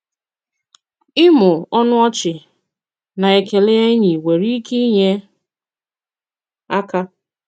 Ị̀mụ̀ ọnụ ọ̀chì na ekèlè ènỳí nwere ìkè inyè àka.